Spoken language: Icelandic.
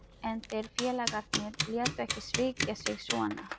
En þeir félagarnir létu ekki svíkja sig svona.